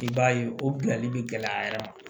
I b'a ye o bilali bɛ gɛlɛya a yɛrɛ ma